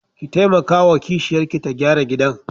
Ki taimakawa wa kishiyarki ta gyara gidan.